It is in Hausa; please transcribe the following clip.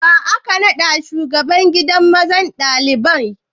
Wa aka naɗa shugaban gidan zaman ɗalibai?